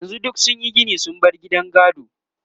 yanzun duk sunyi Gini sun bar gidan gado